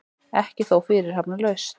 Ekki þó fyrirhafnarlaust.